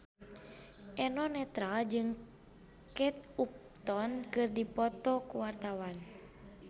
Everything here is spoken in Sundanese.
Eno Netral jeung Kate Upton keur dipoto ku wartawan